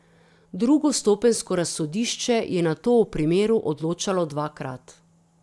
Drugostopenjsko razsodišče je nato o primeru odločalo dvakrat.